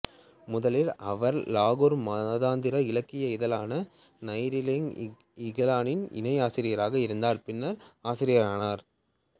முதலில் அவர் லாகூர் மாதாந்திர இலக்கிய இதழான நைராங்இகயலின் இணை ஆசிரியராக இருந்தார் பின்னர் அதன் ஆசிரியரானார்